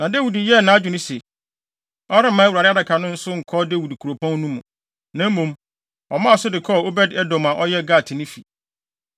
Na Dawid yɛɛ nʼadwene sɛ, ɔremma Awurade Adaka no so nkɔ Dawid Kuropɔn no mu. Na mmom, ɔmaa so de kɔɔ Obed-Edom a ɔyɛ Gatni fi.